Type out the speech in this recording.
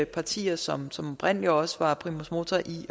partier som oprindelig også var primus motor i